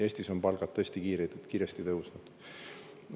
Eestis on palgad tõesti kiiresti tõusnud.